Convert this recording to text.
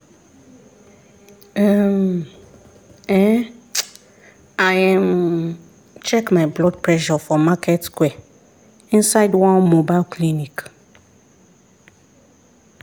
[um][um]i um check my blood pressure for market square inside one mobile clinic.